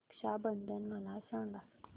रक्षा बंधन मला सांगा